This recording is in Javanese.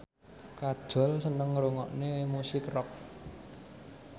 Kajol seneng ngrungokne musik rock